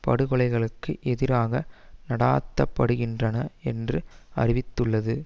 படுகொலைகளுக்கு எதிராக நடாத்தப்படுகின்றன என்று அறிவித்துள்ளது